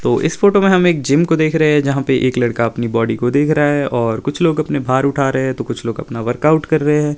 तो इस फोटो में हम एक जिम को देख रहे हैं जहां पे एक लड़का अपनी बॉडी को देख रहा है और कुछ लोग अपने भार उठा रहे हैं तो कुछ लोग अपना वर्कआउट कर रहे हैं।